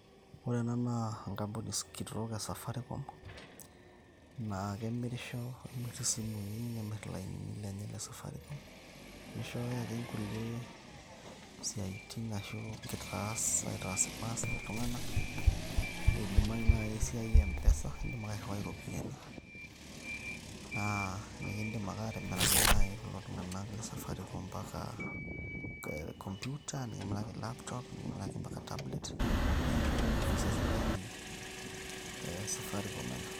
Ore ena naa enkampuni kitok e safaricom naa kemirisho kemirr isimui nemirr iainini lenye le safaricom. Nishooyo ake nkulie siaitin ashu nkitaasa aitaas ilmaasai iltung`anak. Eidimayu naaji esiai e M-pesa idim ake airriwai irropiyiani. Naa nekidim ake aatamiraki naji kulo tung`anak le safaricom mpaka computer, nikimiraki laptop nikimiraki mpaka tablet niaku office e sirkali e safaricom ena.